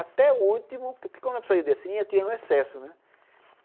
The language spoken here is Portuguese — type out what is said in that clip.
Até o último, porque eu não precisava descer, eu ia tirando o excesso, né?